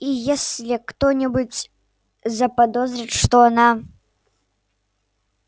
и если кто-нибудь заподозрит что она